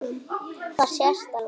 Það sést alveg.